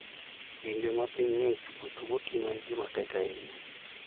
Kinde ma piny ng'ich, wuotho gotieno en gima tek ahinya.